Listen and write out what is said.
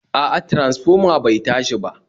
A'a transfoma bai tashi ba